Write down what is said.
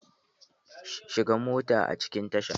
Shiga mota a cikin tasha!